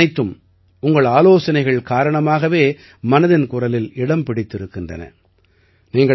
இந்த விஷயங்கள் அனைத்தும் உங்கள் ஆலோசனைகள் காரணமாகவே மனதின் குரலில் இடம் பிடித்திருக்கின்றன